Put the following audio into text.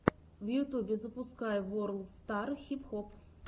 в ютубе запускай ворлд стар хип хоп